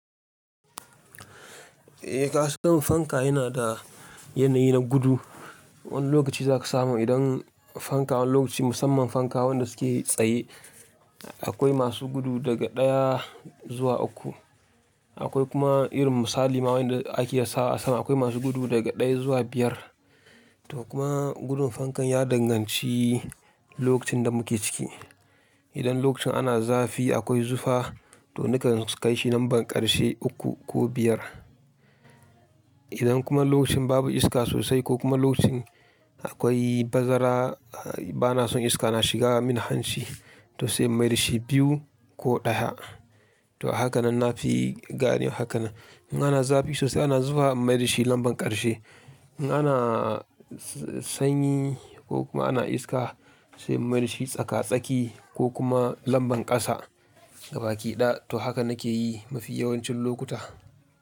Eh kasan fanka yana da yanayi na gudu. Wani lokaci zaka samu idan fanka wani lokaci musamman fanka wanda suke tsaye akwai masu gudu daga ɗaya zuwa uku. Akwai kuma irin misali ma wanda ake sawa a sama akwai masu gudu daga ɗaya zuwa biyar. To kuma gudun fankan ya danganci lokacin da muke ciki. Idan lokacin ana zafi akwai zufa to ni kan kai shi lambar ƙarshe uku ko biyar. Idan kuma lokacin babu iska sosai ko kuma lokacin akwai bazara bana son iska na shiga mini hanchi to sai in mai dashi biyu ko ɗaya. To hakanan na fi gane hakanan. In ana zafi sosai ana zufa in mai da shi lambar ƙarshe. In ana sanyi ko kuma ana iska sai mai shi tsaka-tsaki ko kuma lambar ƙasa gaba ki ɗaya to haka nake yi mafi yawancin lokuta.